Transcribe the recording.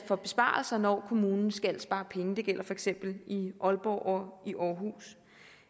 for besparelser når kommunen skal spare penge det gælder for eksempel i aalborg og i aarhus